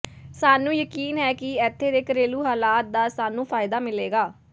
ਸਾਨੂੰ ਯਕੀਨ ਹੈ ਕਿ ਇੱਥੇ ਦੇ ਘਰੇਲੂ ਹਾਲਾਤ ਦਾ ਸਾਨੂੰ ਫ਼ਾਇਦਾ ਮਿਲੇਗਾ